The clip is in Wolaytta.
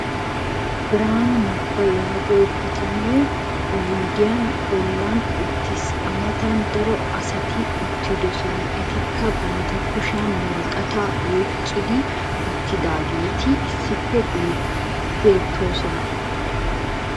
Biraanu negaa yaagiyo bitanee oyddiya bolan utiis. a matan daro asati uttidosona. etikka banta kushiyan woraqataa oyqqi uttidaageeti issippe beetoosoňa.